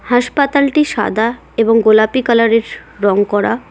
হাসপাতালটি সাদা এবং গোলাপি কালারের রং করা।